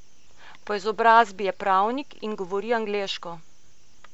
Po izobrazbi je pravnik in govori angleško.